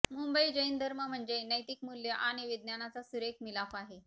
मुंबई जैन धर्म म्हणजे नैतिकमूल्य आणि विज्ञानाचा सुरेख मिलाफ आहे